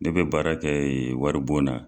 Ne bɛ baara kɛ ye wari bon na.